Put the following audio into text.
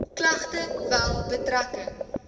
klagte wel betrekking